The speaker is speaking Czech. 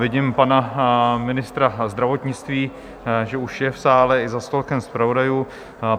Vidím pana ministra zdravotnictví, že už je v sále i za stolkem zpravodajů.